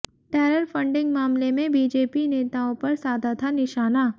terror funding मामले में BJP नेताओं पर साधा था निशाना